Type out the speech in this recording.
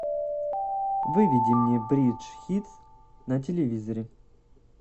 выведи мне бридж хитс на телевизоре